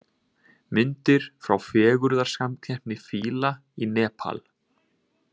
Myndir frá fegurðarsamkeppni fíla í Nepal